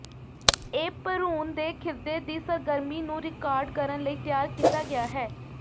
ਇਹ ਭਰੂਣ ਦੇ ਖਿਰਦੇ ਦੀ ਸਰਗਰਮੀ ਨੂੰ ਰਿਕਾਰਡ ਕਰਨ ਲਈ ਤਿਆਰ ਕੀਤਾ ਗਿਆ ਹੈ